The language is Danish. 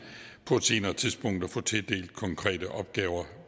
på et senere tidspunkt at få tildelt konkrete opgaver